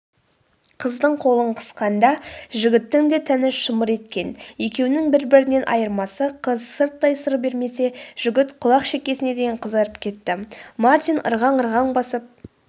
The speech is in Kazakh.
қыздың қолын қысқанда жігіттің де тәні шымыр еткен екеуінің бір-бірінен айырмасы қыз сырттай сыр бермесе жігіт құлақ-шекесіне дейін қызарып кетті.мартин ырғаң-ырғаң басып